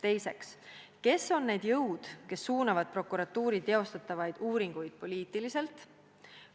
Teiseks: kes on need jõud, kes suunavad prokuratuuri teostatavaid uuringuid poliitiliselt?